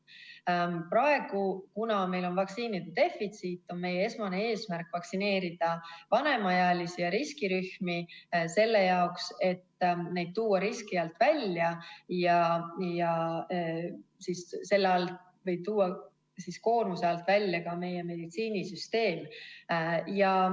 Praegu, kuna meil on vaktsiinide defitsiit, on meie esmane eesmärk vaktsineerida vanemaealisi ja riskirühmi, selle jaoks et tuua neid riski alt välja, mis võib tuua koormuse alt välja ka meie meditsiinisüsteemi.